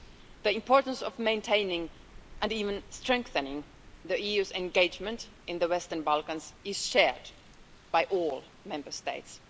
The importance of maintaining and even strengthening the EU's engagement in the Western Balkans is shared by all Member States.